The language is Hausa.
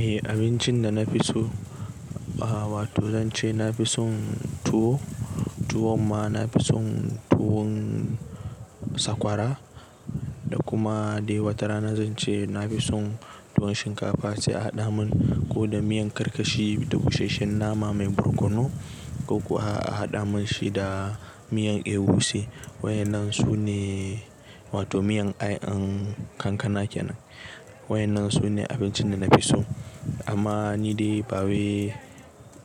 Eh abincin da na fi so ba wato zan ce na fi son tuwo, tuwon ma na fi son tuwon sakwara da kuma dai wata rana zan ce na fi son tuwon shinkafa sai a haɗa mun ko da miyan karkashi da busasshen nama mai barkono ko kuwa a haɗa mun shi da miyan ewuse. Waɗannan su ne wato miyan ayan kankana kenan. Waɗannan su ne abincin da na fi so amma ni dai ba wi--